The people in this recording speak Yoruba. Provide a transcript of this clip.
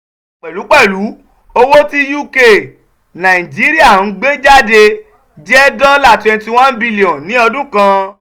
pẹ̀lú pẹ̀lú owó tí uk-nigeria ń gbé jáde jẹ́ dọ́là twenty one billion ní ọdún kan.